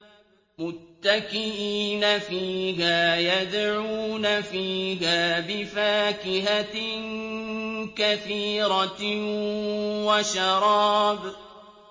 مُتَّكِئِينَ فِيهَا يَدْعُونَ فِيهَا بِفَاكِهَةٍ كَثِيرَةٍ وَشَرَابٍ